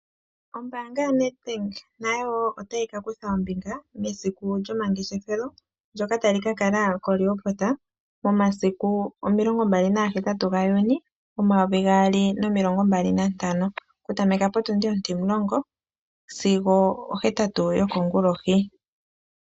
Ombanga yaNed Bank nayowo otayi ka kutha ombinga mesiku lyomangeshefelo ndyoka tali ka kala koRehoboth momasiku omilongo mbali nagahetatu gaJuni omayovi gaali nomilongo mbali nantano okutameka potundi ontimulongo sigo ohetatu yokongulohi.